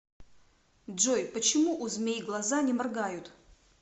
джой почему у змей глаза не моргают